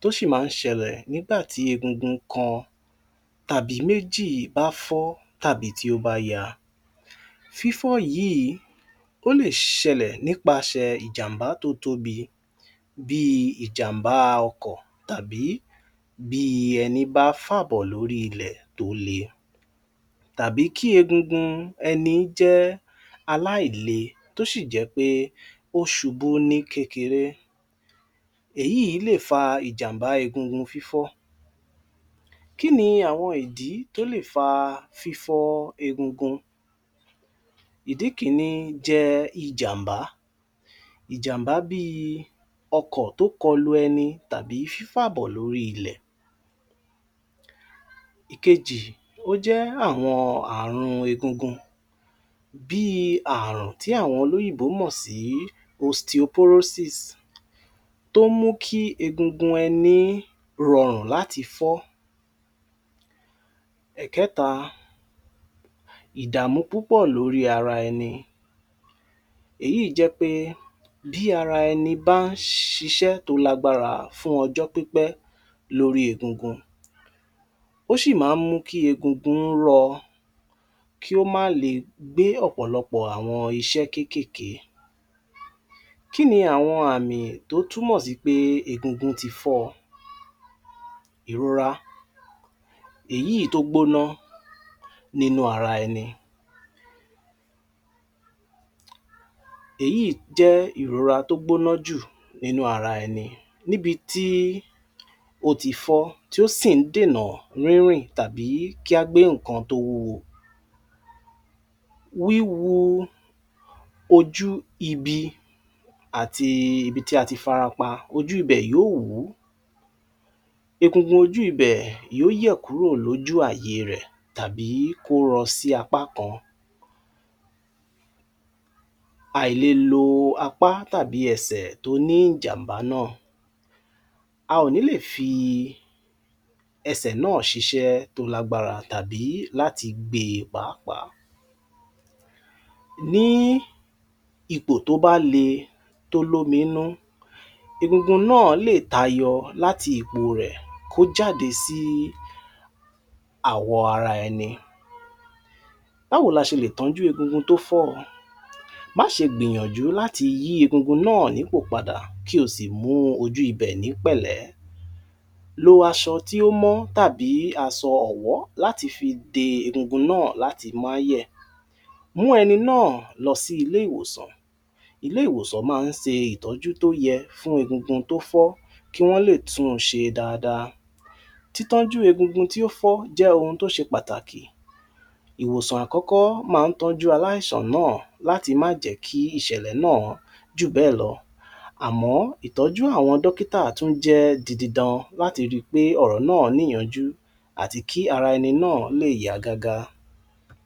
tó sì ma ń sẹlẹ̀ nígbàtí egungun kan tàbí méjì bá fọ́ tàbí tí ó bá ya, fí fọ́ yìí ó lè ṣelẹ̀ nípasẹ̀ ìjàm̀bá tó tóbi bíi ìjàm̀bá ọkọ̀ tàbí bíi ẹní bá fàbọ̀ lórí ilẹ̀ tó le tàbí kí egungun ẹni jẹ́ aláìle tó sì jẹ́ pé ó subú ní kéreré èyí lè fa ìjàm̀bá egungun fí fọ́. Kí ni àwọn ìdí tó lè fa fí fọ́ egungun, ìdí kíní jẹ́ ìjàm̀bá, ìjàm̀bá bíi ọkọ̀ tó kọlu ẹni tàbí fí fà bọ̀ lórí ilẹ̀. Ìkejì ó jẹ́ àwọn àrùn egungun bíi àrùn tí àwọn olọ́yìnbó mọ̀ sí osteoporosis tó mú kí egungun ẹni rọrùn láti fọ́, ẹ̀kẹ́ta ìdàmú púpọ̀ lórí ara ẹni èyí jẹ́ pé bí ara ẹni bá ń ṣe iṣẹ́ tó lágbára fún ọjọ́ pípẹ́ lórí egungun ó sì ma ń mú kí egungun ó rọ kí ò má le gbé ọ̀pọ̀lọpọ̀ iṣẹ́ kékèké. Kí ni àwọn àmìn tó túmọ̀ sí pé egungun ti fọ́ o, ìrora èyí tó gbóná nínú ara ẹni èyí jẹ́ ìrora tó gbóná jù nínú ara ẹni níbití ó ti fọ́ tí ó sì ń dènà rírìn tàbí kí á gbé ǹkan tó wúwo, wí wo ojú ibi àti ibití ati fara pa, ojú ibẹ̀ yó wú, egungun ojú ibẹ̀ yó yẹ̀ kúrò lójú àyè rẹ̀ tábí kó rọ sí apá kan, à ì le lo apá tàbí ẹsẹ̀ tó ní ìjàm̀bá náà, a ò ní lè fi ẹsẹ̀ náà ṣisẹ́ tó lágbára tàbí láti gbe pàápàá. Ní ipò tó bá le tó lómi nínú egungun náà lè tayọ láti ipò rẹ̀ kó jáde sí àwọ̀ ara ẹni, bá wo ni a ṣe lè tọ́jú egungun tó fọ́, má ṣe gbìyànjú láti yí egungun náà ní pò padà kí o sì mú o jú ibẹ̀ ní pẹ̀lẹ́, lo aṣọ tí ó meji tàbí aṣọ ọ̀wọ́ láti fi dé egungun náà láti má yẹ̀ mú ẹni náà lọ sí ilé ìwòsàn, ilé ìwòsàn ma ń ṣe ìtọ́jú tó yẹ fún egungun tó fọ́ kí wọ́n lè tún un ṣe dáadáa, títọ́jú egungun tí ó fọ́ jẹ́ ohun to ṣe pàtàkì ìwòsàn àkọ́kọ́ ma ń tọ́ jú aláìsàn náà láti má jẹ́ kí ìṣẹ̀lẹ̀ náà jù bẹ́ẹ̀ lọ à mọ́, ìtọ́jú àwọn dókítà tún jẹ didi dan láti ri pé ọ̀rọ̀ náà níyanjú àti kí ara ẹni náà lè yá gágá